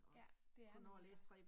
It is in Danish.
Ja, det er nemlig bare